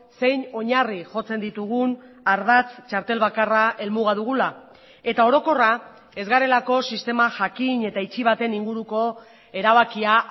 zein oinarri jotzen ditugun ardatz txartel bakarra helmuga dugula eta orokorra ez garelako sistema jakin eta itxi baten inguruko erabakia